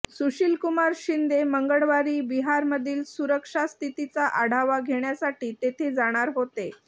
सुशीलकुमार शिंदे मंगळवारी बिहारमधील सुरक्षा स्थितीचा आढावा घेण्यासाठी तेथे जाणार होते